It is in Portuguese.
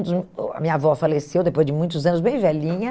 a minha avó faleceu depois de muitos anos, bem velhinha.